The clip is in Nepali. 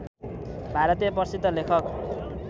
भारतीय प्रसिद्ध लेखक